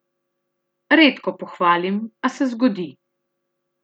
Redko pohvalim, a se zgodi.